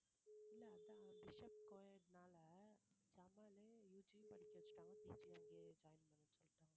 இல்லை அதான் bishop coed னால ஜமாலயே UG யும் படிக்க வச்சுட்டாங்க PG யும்அங்கேயே join பண்ண சொல்லிட்டாங்க